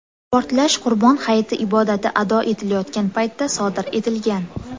Portlash Qurbon hayiti ibodati ado etilayotgan paytda sodir etilgan.